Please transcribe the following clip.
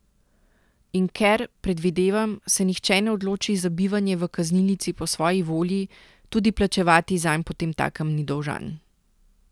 In ker, predvidevam, se nihče ne odloči za bivanje v kaznilnici po svoji volji, tudi plačevati zanj potemtakem ni dolžan.